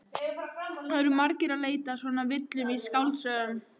Það eru margir að leita að svona villum í skáldsögum.